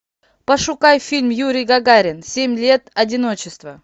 пошукай фильм юрий гагарин семь лет одиночества